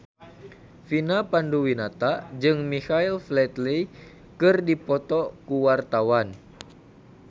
Vina Panduwinata jeung Michael Flatley keur dipoto ku wartawan